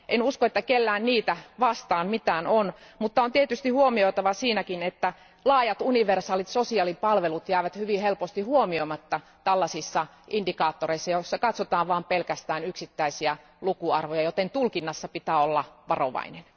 En usko, että kenelläkään on mitään niitä vastaan, mutta niiden yhteydessä on tietysti huomioitava, että laajat universaalit sosiaalipalvelut jäävät hyvin helposti huomioimatta tällaisissa indikaattoreissa, joissa katsotaan vain pelkästään yksittäisiä lukuarvoja, joten tulkinnassa pitää olla varovainen.